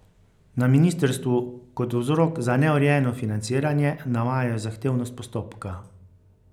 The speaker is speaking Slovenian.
Na ministrstvu kot vzrok za neurejeno financiranje navajajo zahtevnost postopka.